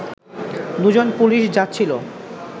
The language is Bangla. দুজন পুলিশ যাচ্ছিল